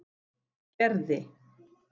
Gerði